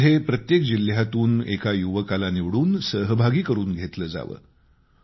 त्यामध्ये प्रत्येक जिल्ह्यातून एका युवकाला निवडून सहभागी करून घेतलं जावं